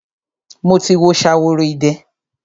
Mo ti wo Ṣaworoide.